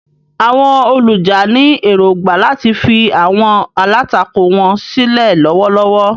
Àwọn olùjà ní èrògbà láti fi àwọn alátakò wọn sílẹ̀ lọ́wọ́lọ́wọ́.